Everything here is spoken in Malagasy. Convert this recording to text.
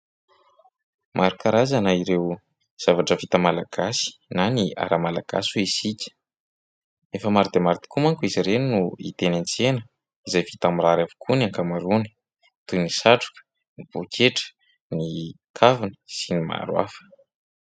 maro karazana ireo zavatra vita malagasy na ny ara-malagasy hoy isika efa maro dia maro tokoa manko izy ireny no hita eny an-tsena izay vita mirary avokoa ny ankamaroany tohin'ny satroka ny poketra ny kavina sy ny maharo hafa.